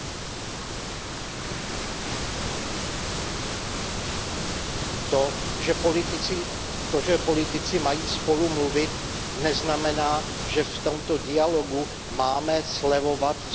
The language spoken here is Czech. To, že politici mají spolu mluvit, neznamená, že v tomto dialogu máme slevovat z důrazu kladeného na ochranu lidských práv, a to i vůči Saudské Arábii.